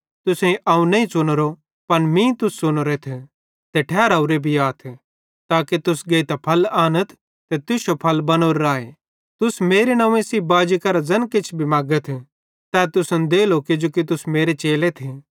तुसेईं अवं नईं च़ुनोरो पन मीं तुस च़ुनोरेथ ते ठहरावरे भी आथ ताके तुस गेइतां फल आनथ ते तुश्शो फल बनोरो राए कि तुस मेरे नंव्वे सेइं बाजी करां ज़ैन किछ मगथ तै तुसन देलो किजो तुस मेरे चेलेथ